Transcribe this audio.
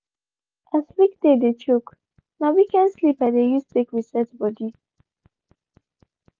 as weekday dey choke na weekend sleep i dey use take reset body.